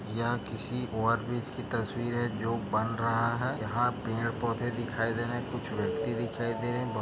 यह किसी ओवरब्रिज की तस्वीर है जो बन रहा है यहाँ पेड़ - पौधे दिखाई दे रहे है कुछ व्यक्ति दिखाई दे रहे है--